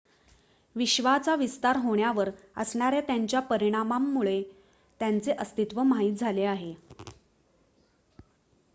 विश्वाचा विस्तार होण्यावर असणाऱ्या त्याच्या परिणामांमुळे त्याचे अस्तित्व माहित झाले आहे